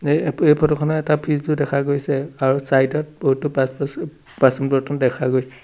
এই ফটো খনত এটা ফ্ৰীজ ও দেখা গৈছে আৰু ছাইড ত বহুতো বাছ বাচুন বাচুন-বৰ্তন দেখা গৈছে।